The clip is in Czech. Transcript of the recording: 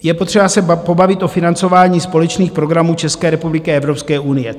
Je potřeba se pobavit o financování společných programů České republiky a Evropské unie.